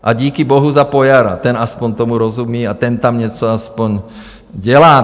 A díky Bohu za Pojara, ten aspoň tomu rozumí a ten tam něco aspoň dělá.